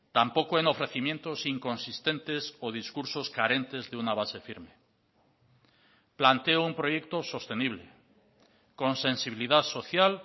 tampoco en ofrecimientos inconsistentes o discursos carentes de una base firme planteo un proyecto sostenible con sensibilidad social